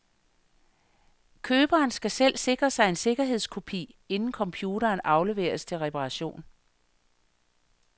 Køberen skal selv sikre sig en sikkerhedskopi, inden computeren afleveres til reparation.